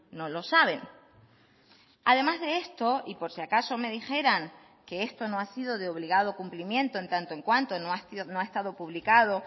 no lo saben además de esto y por si acaso me dijeran que esto no ha sido de obligado cumplimiento en tanto en cuanto no ha estado publicado